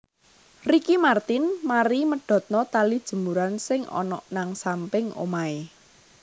Ricky Martin mari medhotno tali jemuran sing onok nang samping omahe